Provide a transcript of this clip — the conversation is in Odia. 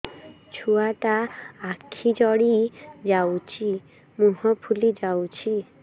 ଛୁଆଟା ଆଖି ଜଡ଼ି ଯାଉଛି ମୁହଁ ଫୁଲି ଯାଉଛି